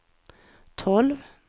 tolv